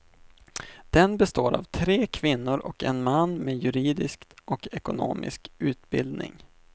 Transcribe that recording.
Den består av tre kvinnor och en man med juridisk och ekonomisk utbildning.